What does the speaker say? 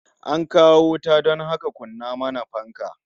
An kawo wuta don haka kunna mana fanka